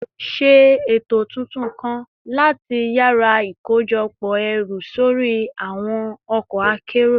Ṣe eto tuntun kan lati yara ikojọpọ ẹru sori awọn ọkọ akero